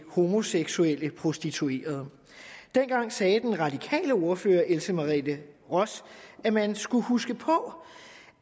homoseksuelle prostituerede dengang sagde den radikale ordfører else merete ross at man skulle huske på